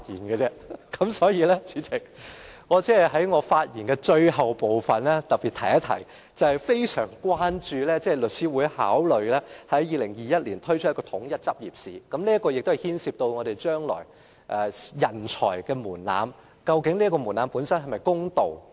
此外，代理主席，我還想在發言的最後部分特別提出，我對於律師會考慮在2021年舉辦統一執業試深表關注，因為這牽涉日後法律專業人才的門檻是否公道。